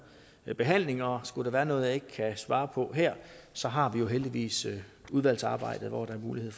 behandling og skulle der være noget jeg ikke kan svare på her så har vi jo heldigvis udvalgsarbejdet hvor der er mulighed